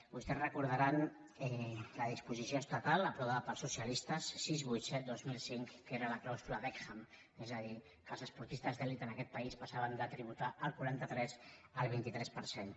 vostès recordaran la disposició estatal aprovada pels socialistes sis cents i vuitanta set dos mil cinc que era la clàusula beckham és a dir que els esportistes d’elit en aquest país passaven de tributar el quaranta tres al vint tres per cent